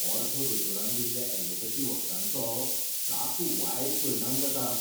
Ortho दोतोरान दिल्ल्या allopathy वखदांचो साप वायट परिणाम जाता.